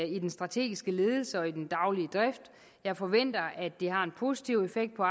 i den strategiske ledelse og i den daglige drift jeg forventer at det har en positiv effekt på